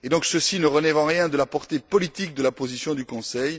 Ceci ne relève donc en rien de la portée politique de la position du Conseil.